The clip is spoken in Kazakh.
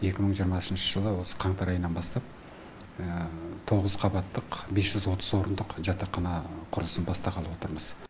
екі мың жиырмасыншы жылы осы қаңтар айынан бастап тоғыз қабаттық бес жүз отыз орындық жатақхана құрылысын бастағалы отырмыз